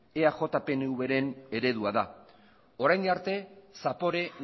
eaj pnv ren eredua da orain arte zapore